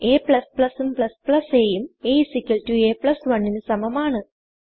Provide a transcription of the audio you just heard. a ഉം a ഉം a a 1 ന് സമമാണ്